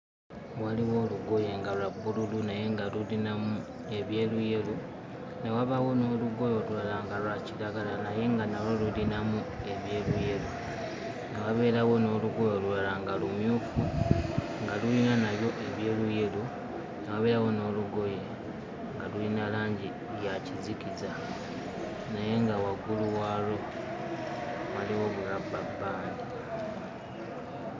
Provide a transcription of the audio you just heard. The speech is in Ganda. Waliwo olugoye nga lwa bbululu naye nga lulinamu ebyeruyeru, ne wabaawo n'olugoye olulala nga lwa kiragala naye nga nalwo lulinamu ebyeruyeru, ne wabeerawo n'olugoye olulala nga lumyufu nga luyina nalwo ebyeruyeru, ne wabeerawo n'olugoye nga luyina langi ya kizikiza naye nga waggulu waalwo waliwo bulabbabbandi.